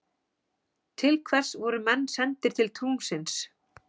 Til hvers voru menn sendir til tunglsins?